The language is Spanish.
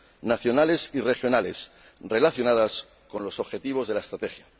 nacionales y regionales relacionadas con los objetivos de la Estrategia.